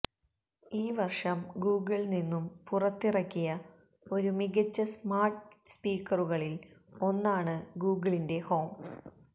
ഈ വർഷം ഗൂഗിൾ നിന്നും പുറത്തിറക്കിയ ഒരു മികച്ച സ്മാർട്ട് സ്പീക്കറുകളിൽ ഒന്നാണ് ഗൂഗിളിന്റെ ഹോം